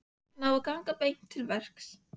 Hann á að ganga beint til verks.